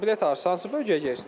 Bilet arzı hansı bölgəyə gedirsiz?